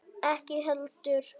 Ekki heldur